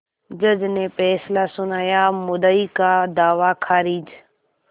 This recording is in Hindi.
जज ने फैसला सुनायामुद्दई का दावा खारिज